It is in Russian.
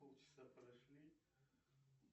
полчаса прошли